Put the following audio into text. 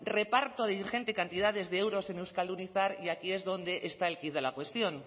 reparto de ingentes cantidades de euros en euskaldunizar y aquí es donde está el quid de la cuestión